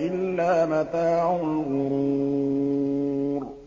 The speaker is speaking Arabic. إِلَّا مَتَاعُ الْغُرُورِ